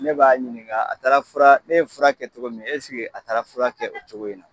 Ne b'a ɲininga a taara ne ye fura kɛ cogo min eske a taara fura kɛ o cogo in na.